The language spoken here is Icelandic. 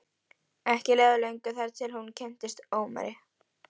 Ekki leið á löngu þar til hún kynntist Ómari.